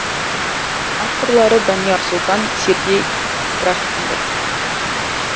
авторлары данияр сұлтан сергей трахтенберг